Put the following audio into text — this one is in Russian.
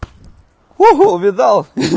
ого видал хи-хи